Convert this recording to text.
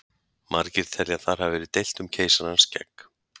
Margir telja að þar hafi verið deilt um keisarans skegg!